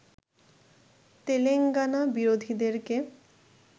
Telangana বিরোধীদেরকে